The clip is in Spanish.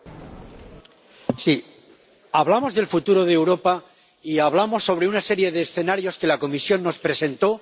Señor presidente, sí, hablamos del futuro de Europa y hablamos sobre una serie de escenarios que la Comisión nos presentó.